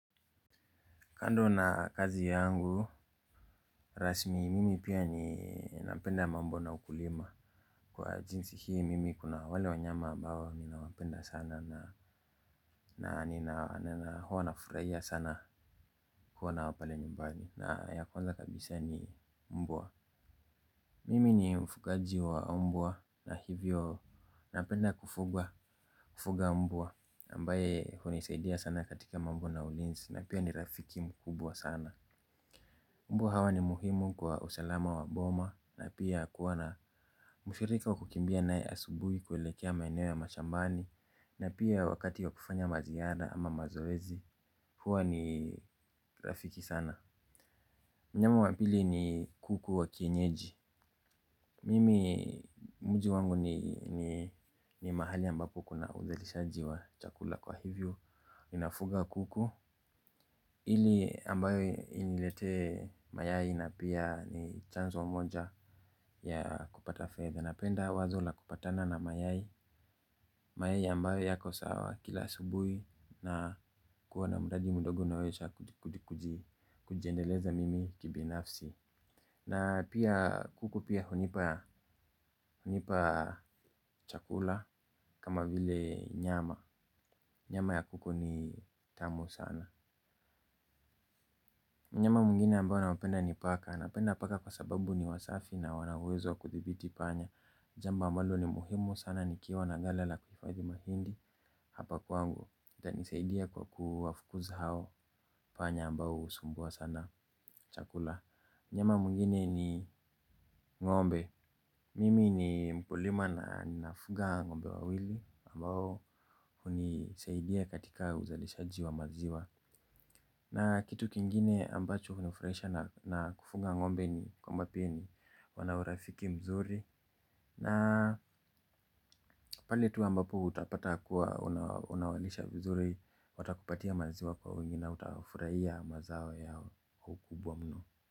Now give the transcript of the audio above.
Kando na kazi yangu. Rasmi mimi pia ni napenda mambo na ukulima. Kwa jinsi hii mimi kuna wale wanyama ambao ninawapenda sana na nina huwa nafurahia sana kuwa nao pale nyumbani na ya kwanza kabisa ni mbwa. Mimi ni mfugaji wa mbwa na hivyo napenda kufuga mbwa ambaye hunisaidia sana katika mambo na ulinzi na pia ni rafiki mkubwa sana. Mbwa hawa ni muhimu kwa usalama wa boma na pia kuwa na mshirika wa kukimbia nae asubuhi kueelekea maeneo ya mashambani na pia wakati wa kufanya maziara ama mazoezi huwa ni rafiki sana. Mnyama wa pili ni kuku wa kienyeji. Mimi mji wangu ni mahali ambapo kuna uzalishaji wa chakula kwa hivyo ninafuga kuku. Ili ambayo iniletee mayai na pia ni chanzo moja ya kupata fedha. Napenda wazo la kupatana na mayai. Mayai ambayo yako sawa kila subuhi na kuwa na mudagi mudogo naesha kuji kujiendeleza mimi kibinafsi. Na pia kuku pia hunipa chakula kama vile nyama. Nyama ya kuku ni tamu sana mnyama mwingine ambae na napenda ni paka. Napenda paka kwa sababu ni wasafi na wana uwezo kudhibiti panya. Jambo ambalo ni muhimu sana nikiwa na ghala la kufadhi mahindi hapa kwangu. Itanisaidia kwa kuwafukuza hao panya ambao husumbua sana chakula mnyama mwngine ni ngombe. Mimi ni mkulima na ninafuga ng'ombe wawili ambao hunisaidia katika uzalishaji wa maziwa. Na kitu kingine ambacho hunifurahisha na kufuga ng'ombe ni kwamba pia ni wana urafiki mzuri. Na paletu ambapo utapata kuwa unawalisha vizuri. Watakupatia maziwa kwa wingi na utafurahia mazao ya ukubwa mno.